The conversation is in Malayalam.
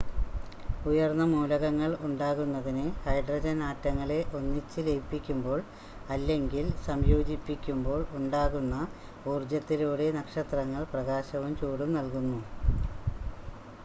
ഉയർന്ന മൂലകങ്ങൾ ഉണ്ടാകുന്നതിന് ഹൈഡ്രജൻ ആറ്റങ്ങളെ ഒന്നിച്ച് ലയിപ്പിക്കുമ്പോൾ അല്ലെങ്കിൽ സംയോജിപ്പിക്കുമ്പോൾ ഉണ്ടാകുന്ന ഊർജ്ജത്തിലൂടെ നക്ഷത്രങ്ങൾ പ്രകാശവും ചൂടും നൽകുന്നു